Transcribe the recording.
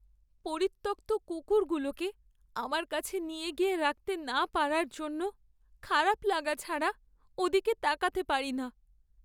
পরিত্যক্ত কুকুরগুলোকে আমার কাছে নিয়ে গিয়ে রাখতে না পারার জন্য খারাপা লাগা ছাড়া ওদিকে তাকাতে পারি না।